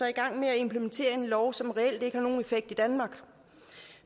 i gang med at implementere en lov som reelt ikke har nogen effekt i danmark